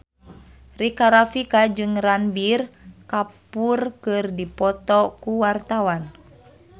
Rika Rafika jeung Ranbir Kapoor keur dipoto ku wartawan